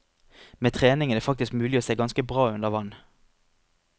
Med trening er det faktisk mulig å se ganske bra under vann.